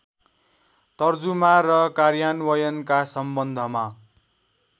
तर्जुमा र कार्यान्वयनका सम्बन्धमा